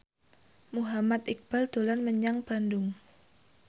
Muhammad Iqbal dolan menyang Bandung